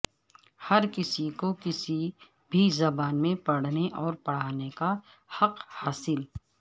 ہر کسی کو کسی بھی زبان میں پڑھنے اور پڑھانے کا حق حاصل